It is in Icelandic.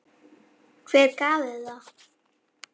Hver gaf þér það?